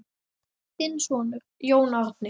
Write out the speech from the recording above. Þinn sonur, Jón Árni.